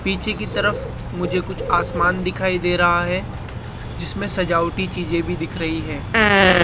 पीछे की तरफ मुझे कुछ आसमान दिखाई दे रहा है जिसमें सजावटी चीजें भी दिख रही है।